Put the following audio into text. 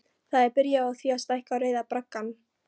Það er byrjað á því að stækka Rauða braggann.